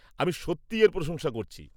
আমি সত্যি এর প্রশংসা করছি।